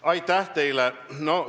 Aitäh teile!